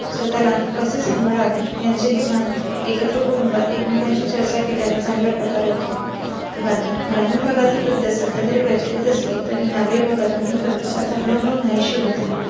स्वतःला कसे सांभाळावे यांचे ही भान एकत्र कुटुंबात एकमेकांशी चर्चा केल्या ने चांगल्या प्रकारे होतात. भारतात ग्रामीण भागात ही पद्धत सध्या तरी प्रचलित असली तरी नागरी भागातून ही पद्धत आता हळूहळू नाहीशी होत आहे.